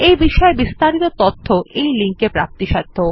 এই বিষয় বিস্তারিত তথ্য এই লিঙ্ক এ প্রাপ্তিসাধ্য